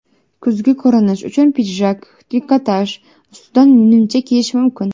Kuzgi ko‘rinish uchun pidjak, trikotaj ustidan nimcha kiyish mumkin.